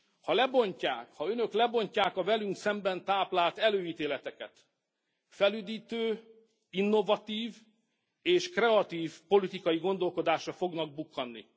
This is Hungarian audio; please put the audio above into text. Ha lebontják, ha Önök lebontják a velünk szemben táplált előítéleteket, felüdítő, innovatív és kreatív politikai gondolkodásra fognak bukkanni.